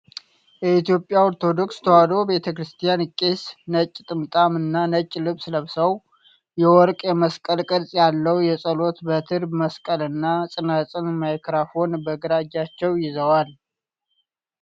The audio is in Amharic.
የኢትዮጵያ ኦርቶዶክስ ተዋሕዶ ቤተክርስቲያን ቄስ። ነጭ ጥምጥም እና ነጭ ልብስ ለብሰው፣ የወርቅ የመስቀል ቅርጽ ያለው የጸሎት በትረ-መስቀልና ፅናፅን፤ ማይክራፎን በግራ እጃቸው ይዘዋል።